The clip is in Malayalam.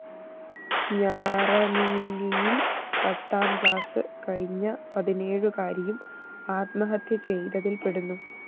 ഞാറനീലിയില്‍ പത്താംക്ലാസ് കഴിഞ്ഞ പതിനേഴുകാരിയും ആത്മഹത്യചെയ്തതില്‍ പെടുന്നു